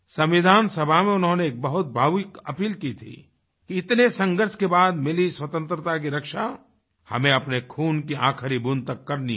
संविधान सभा में उन्होंने एक बहुत भावुक अपील की थी कि इतने संघर्ष के बाद मिली स्वतंत्रता की रक्षा हमें अपने खून की आखिरी बूँद तक करनी है